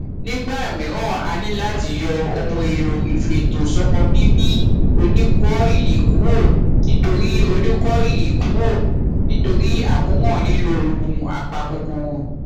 nígbà mìíràn a ní láti yọ ohun èlò ìfètò sọmọ bíbí oníkọìlì kúrò nítorí oníkọìlì kúrò nítorí àkóràn nílò oògùn apakòkòrò